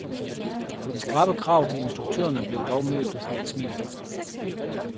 De skrappe krav til instruktørerne blev dog mødt med et smil.